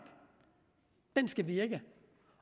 skal virke